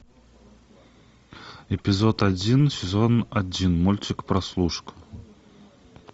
эпизод один сезон один мультик прослушка